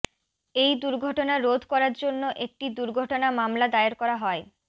এই দুর্ঘটনা রোধ করার জন্য একটি দুর্ঘটনা মামলা দায়ের করা হয়